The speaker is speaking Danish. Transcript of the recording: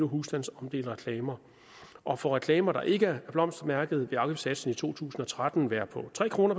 husstandsomdelte reklamer og for reklamer der ikke er blomstermærket vil afgiftssatsen i to tusind og tretten være på tre kroner